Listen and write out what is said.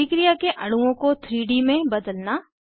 अभिक्रिया के अणुओं को 3डी में बदलना